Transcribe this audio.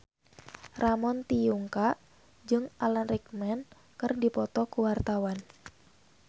Ramon T. Yungka jeung Alan Rickman keur dipoto ku wartawan